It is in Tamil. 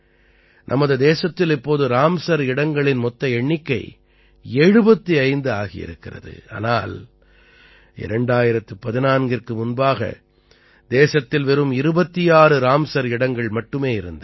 நமது தேசத்தில் இப்போது ராம்ஸர் இடங்களின் மொத்த எண்ணிக்கை 75 ஆகியிருக்கிறது ஆனால் 2014ற்கு முன்பாக தேசத்தில் வெறும் 26 ராம்ஸர் இடங்கள் மட்டுமே இருந்தன